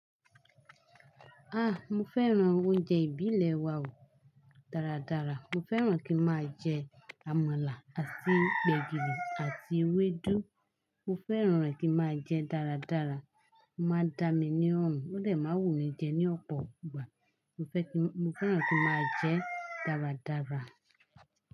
Ah! Mo fẹ́ràn oúnjẹ ìbílẹ̀ wa o dáradára. Mo fẹ́ràn kí n máa jẹ àmàlà àti gbẹ̀gìrì àti ewédú. Mo fẹ́ràn rẹ̀ kí n máa jẹ dáradára. Ma dá mi ní ọrùn, ó dẹ̀ má n wù mí jẹ ní ọ̀pọ̀ ìgbà. Mo fẹ́ kí, mo fẹ́ràn kí n máa jẹ dáradára.